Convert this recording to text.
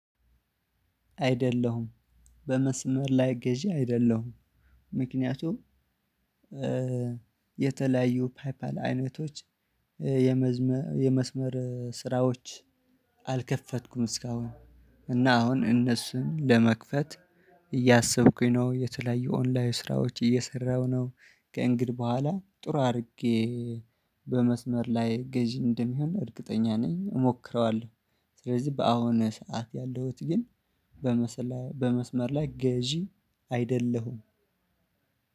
አይደለሁም በመስመር ላይ ገዢ አይደለሁም። ምክንያቱም የተለያዩ ፓይፓል አይነቶች የመስመር ስራዎች አልከፈትኩም እስካሁን። እና አሁን እነሱን ለመክፈት እያሰብኩኝ ነው የተለያዩ ኦንላይን ስራዎች እየሰራሁ ነው። ከእንግድህ በኋላ ጥሩ አድርጌ በመስመር ላይ ገዢ እንደሚሆን እርግጠኛ ነኝ እሞክረዋለሁ። ስለዚህ በአሁኑ ሰዓት ያለሁት ግን በመስመር ላይ ገዢ አይደለሁም።